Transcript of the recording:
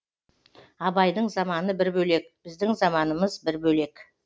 абайдың заманы бір бөлек біздің заманымыз бір бөлек